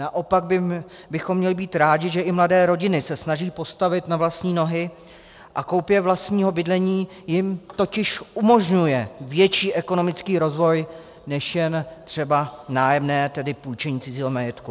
Naopak bychom měli být rádi, že i mladé rodiny se snaží postavit na vlastní nohy, a koupě vlastního bydlení jim totiž umožňuje větší ekonomický rozvoj než jen třeba nájemní, tedy půjčení cizího majetku.